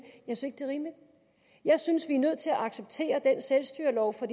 jeg synes vi er nødt til at acceptere den selvstyrelov for